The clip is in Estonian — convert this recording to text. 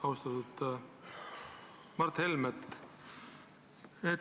Austatud Mart Helme!